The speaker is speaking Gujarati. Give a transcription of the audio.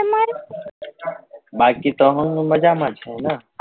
બાકી તો હું મજામાં જ છુ ને